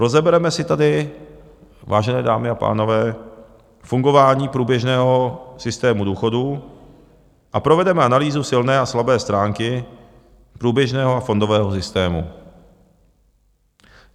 Rozebereme si tady, vážené dámy a pánové, fungování průběžného systému důchodů a provedeme analýzu silné a slabé stránky průběžného a fondového systému.